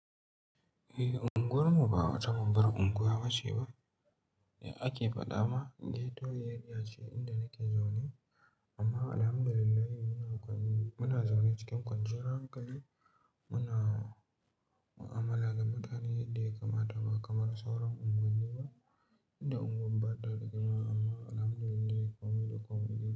Eh, unguwar mu ba wata babbar unguwa ba ce ba. Da ake faɗa ma ghetto airea ce inda nake zaune. Amma alhamdulillah muna zaune cikin kwanciyar hankali. Muna mu'amala da mutane yaddaa ya kamata ba kamar sauran unguwanni ba, inda unguwar ba ta da girma amma alhamdulillah komai da komai ne.